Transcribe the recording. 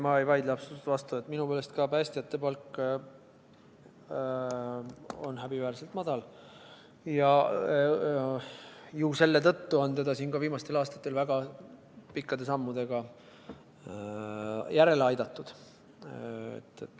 Ma ei vaidle absoluutselt vastu, minu meelest ka päästjate palk on häbiväärselt madal, ja ju selle tõttu on seda siin ka viimastel aastatel väga pikkade sammudega järele aidatud.